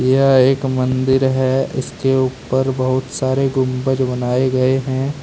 यह एक मंदिर है इसके ऊपर बहुत सारे गुंबज बनाए गए हैं।